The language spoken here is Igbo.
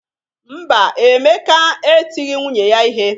Mba, Emeka etighi nwunye ihe.